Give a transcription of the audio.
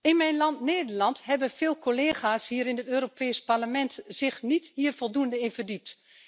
In mijn land, Nederland, hebben veel collega's in het Europees Parlement zich hier niet voldoende in verdiept.